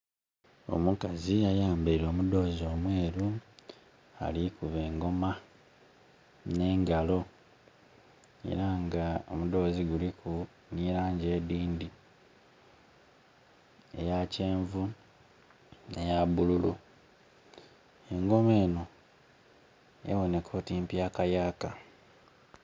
Omukazi ayambaile omudhozi omweru ali kukuba engoma nengalo era nga omudhozi guliku nhi langi edhindhi, eya kyenvu, eya bululu, engoma enho eboneka oti mpyakayaka.